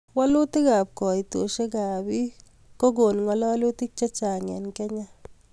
Walutik ab kaitoshek ab pik kokon ngalutik chechang eng kenya